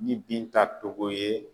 Ni Binta Togo ye